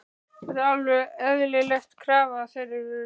Er það ekki alveg eðlileg krafa af þeirra hálfu?